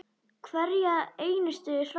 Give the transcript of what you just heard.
Hverja einustu hræðu!